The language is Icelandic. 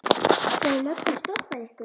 Hefur löggan stoppað ykkur?